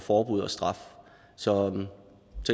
forbud og straf så